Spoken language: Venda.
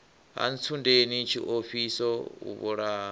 ha ntsundeni tshiofhiso o vhulaha